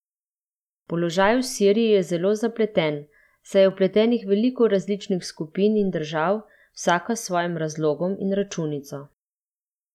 Položaj v Siriji je zelo zapleten, saj je vpletenih veliko različnih skupin in držav, vsaka s svojim razlogom in računico.